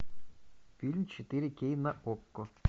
фильм четыре кей на окко